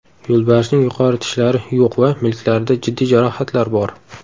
Yo‘lbarsning yuqori tishlari yo‘q va milklarida jiddiy jarohatlar bor.